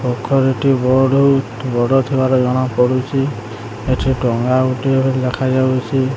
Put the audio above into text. କଖାରୁ ଟି ବଅଡ ବଡ଼ ଥିବାର ଜଣା ପଡୁଚି ଏଠି ଟଙ୍ଗା ଗୋଟିଏ ବୋଲି ଦେଖାଯାଉଚି।